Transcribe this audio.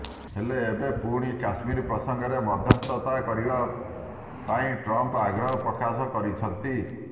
ହେଲେ ଏବେ ପୁଣି କାଶ୍ମୀର ପ୍ରସଙ୍ଗରେ ମଧ୍ୟସ୍ଥତା ପାଇଁ ଟ୍ରମ୍ଫ ଆଗ୍ରହ ପ୍ରକାଶ କରିଛନ୍ତି